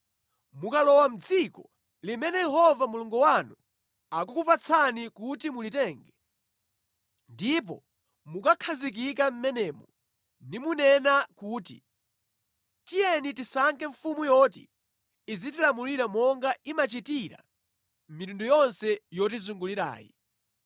Mukalowa mʼdziko limene Yehova Mulungu wanu akukupatsani kuti mulitenge, ndipo mukakakhazikika mʼmenemo nimunena kuti, “Tiyeni tisankhe mfumu yoti izitilamulira monga imachitira mitundu yonse yotizungulirayi,”